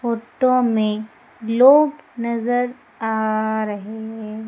Photo में लोग नजर आ रहे।